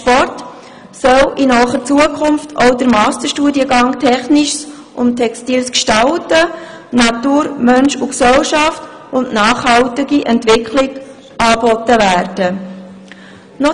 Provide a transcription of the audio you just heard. Sport sollen in naher Zukunft auch die Masterstudiengänge Technisches und textiles Gestalten sowie Natur, Mensch, Gesellschaft und nachhaltige Entwicklung angeboten werden.